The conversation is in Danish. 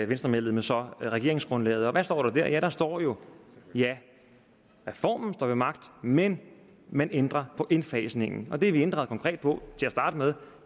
venstremedlemmet så regeringsgrundlaget og hvad står der der ja der står jo at reformen står ved magt men at man ændrer på indfasningen og det vi ændrede konkret på til at starte med